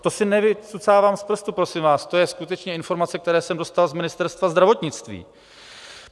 To si nevycucávám z prstu, prosím vás, to je skutečně informace, kterou jsem dostal z Ministerstva zdravotnictví.